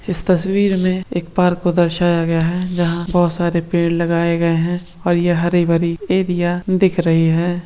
इस तस्वीर मे एक पार्क को दर्शाया गया है जहा बहुत सारे पेड़ लगाए गए है और ये हारी भारी एरिया दिख रही है।